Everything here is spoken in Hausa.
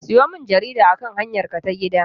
Sayo min jarida akan hanyarka ta gida!